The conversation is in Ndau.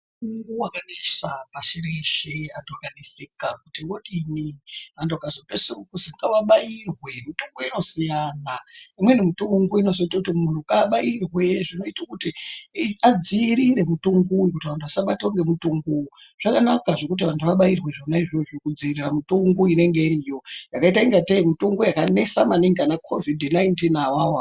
Mutungu wakanesa pashi reshe anhu akaneseka kuti odini ,antu akazopedzisirwe ozwi ngaabairwe ,mutungu inosiyana imweni mitungu inozoite kuti munhu abairwe zvinoite kuti adziirire mutungu uyu kuti vanhu vasabatwa ngemutungu zvakanaka zvekuti anhu abairwe zvona izvozvo kudziirira mitungu inonga iriyo yakaita kunga tei mitungu yakanesa maningi ana covid 19 awawo.